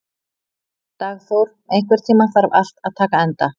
Dagþór, einhvern tímann þarf allt að taka enda.